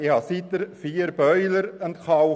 Seither habe ich vier Boiler entkalkt.